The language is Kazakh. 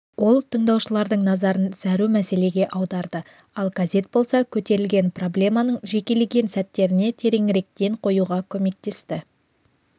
ол тыңдаушылардың назарын зәру мәселеге аударды ал газет болса көтерілген проблеманың жекелеген сәттеріне тереңірек ден қоюға көмектесті